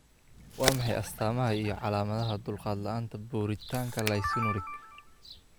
Waa maxay astamaha iyo calaamadaha dulqaad la'aanta borotiinka Lysinuric?